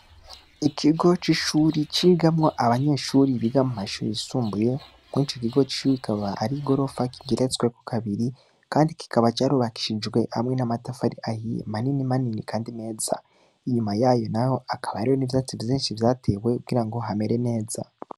Ikigo c'ishure cigamwo abanyeshuri bo mu mashuri yisumbuye kw'ico kigo c'ishuri kikaba ari igorofa kigeretsweko kabiri kandi ico kigo kikaba carubakishijwe n'amatafari manini manini kamdi meza. Inyuma yayo naho hakaba hariyo n'ivyatsi vyinshi vyatewe kugira ng hamere neza.